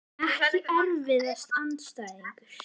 EKKI erfiðasti andstæðingur?